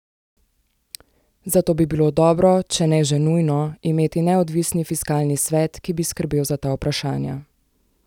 Zato bi bilo dobro, če ne že nujno, imeti neodvisni fiskalni svet, ki bi skrbel za ta vprašanja.